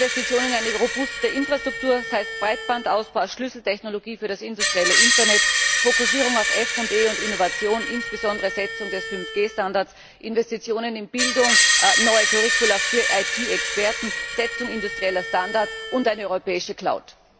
Investitionen in eine robuste Infrastruktur, das heißt Breitbandausbau als Schlüsseltechnologie für das industrielle Internet, Fokussierung auf FE und Innovation, insbesondere Festsetzung des 5G Standards, Investitionen in Bildung, neue Curricula für IT Experten, Festsetzung industrieller Standards und eine europäische Cloud.